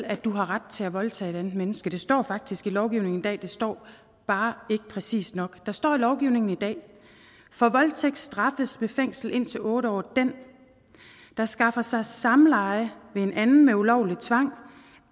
at du har ret til at voldtage et andet menneske det står faktisk i lovgivningen i dag det står bare ikke præcist nok der står i lovgivningen i dag for voldtægt straffes med fængsel indtil otte år den der skaffer sig samleje ved anden ulovlig tvang